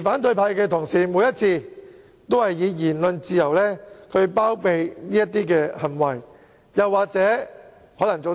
反對派同事每次都以言論自由包庇這類行為，又可能說"